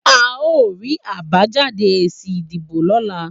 A o ri àbájáde èsì ìdìbò lọ́la